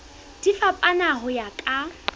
di fapana ho ya ka